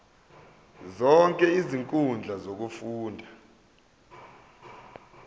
zonke izinkundla zokufunda